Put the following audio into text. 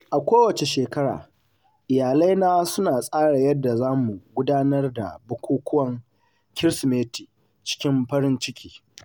A kowace shekara; iyalaina suna tsara yadda zamu gudanar da bukukuwan Kirsimeti cikin farin ciki.